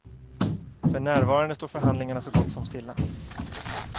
För närvarande står förhandlingarna så gott som stilla.